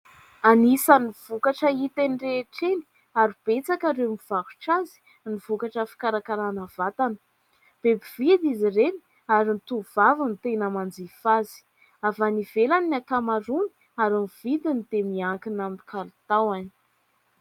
Anisan'ny vokatra hita eny rehetra eny ary betsaka ireo mivarotra azy ny vokatra fikarakarana vatana, be mpividy izy ireny ary ny tovovavy no tena manjifa azy, avy any ivelany ny ankamaroany ary ny vidiny dia miankina amin'ny kalitaony.